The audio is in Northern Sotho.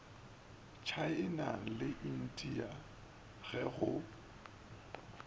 tšhaena le india ge go